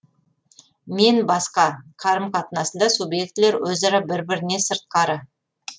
мен басқа қарым қатынасында субъектілер өзара бір біріне сыртқары